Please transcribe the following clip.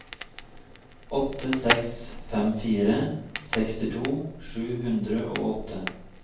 åtte seks fem fire sekstito sju hundre og åtte